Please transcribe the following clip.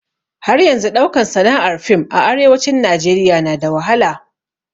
Har yanzun ɗaukan sana'ar fiim a arewacin Najeriya na da wahala